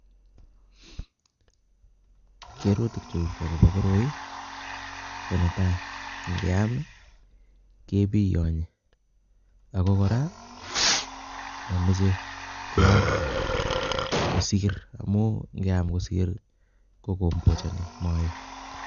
Kerutik chu chebo koroi ko netai ingeam kebiyonyi ak ko kora mameche keam koris amu ngeam kosir kombochani maet